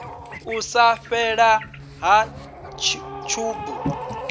u sa fhelela ha tshubu